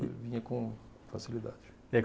Eu vinha com facilidade.